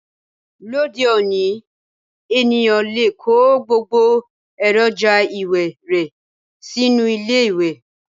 Lóde òní, ènìyàn lè kó gbogbo èròjà ìwẹ̀ rẹ sínú ilé ìwẹ̀